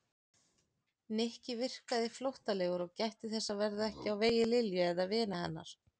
Nikki virkaði flóttalegur og gætti þess að verða ekki á vegi Lilju eða vina hennar.